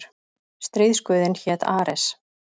Stríðsguðinn hét Ares.